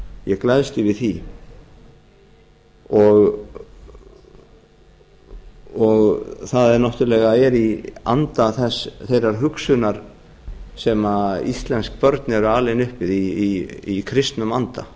ég gleðst yfir því og það er náttúrlega í anda þeirrar hugsunar sem íslensk börn eru alin upp við í kristnum anda